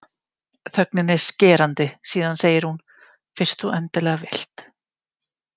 Þögnin er skerandi, síðan segir hún: Fyrst þú endilega vilt.